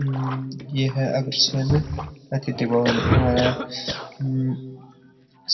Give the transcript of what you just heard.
हम्म ये है अग्रसेन अतिथि भवन इ मायने हम्म